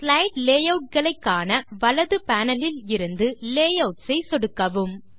slide layout களை காண வலது பேனல் லில் இருந்து லேயூட்ஸ் ஐ சொடுக்கவும்